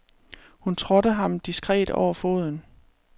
Hun trådte ham diskret over foden.